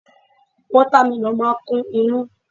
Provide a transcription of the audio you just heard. Wata meloonu máa ń kún inú.